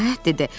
Nəhayət dedi.